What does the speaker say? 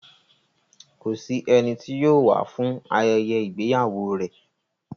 Kò sí ẹni tí yóò wá fún ayẹyẹ ìgbéyàwó rẹ̀.